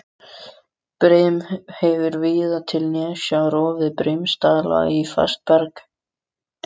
Brim hefur víða til nesja rofið brimstalla í fast berg.